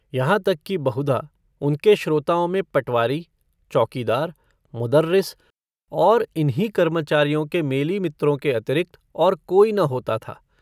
यहाँ तक कि बहुधा उनके श्रोताओं में पटवारी चौकीदार मुदर्रिस और इन्हीं कर्मचारियों के मेलीमित्रों के अतिरिक्त और कोई न होता था।